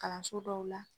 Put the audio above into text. Kalanso dɔw la